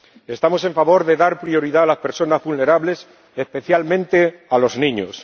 Estamos a favor de dar prioridad a las personas vulnerables, especialmente a los niños.